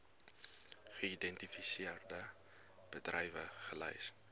geïdentifiseerde bedrywe gelys